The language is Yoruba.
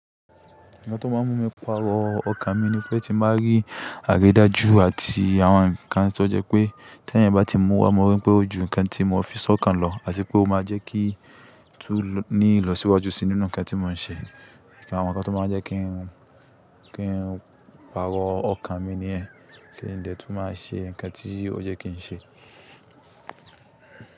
Nkan tó máa ń mú mi parọ́ ọkàn mi ni pé ti máa rí àridájú àti àwọn nkan tí ó jẹ́ pé tí ẹ̀eyan bá ti mú wa, mo rí pé ó ju nǹkan tí mo fi sọ́kàn lọ àti pé ó máa jẹ́ kí tún ní ìlọsíwájú sí nínú nǹkan tí mò ń ṣe. Àwọn nǹkan tó máa ń jẹ́ kí n parọ́ ọkàn mi ni yẹ́n, kí n dè tún máa ṣe nǹkan tí ó jẹ́ kí n ṣe.